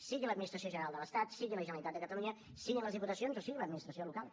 sigui l’administració general de l’estat sigui la generalitat de catalunya siguin les diputacions o sigui l’administració local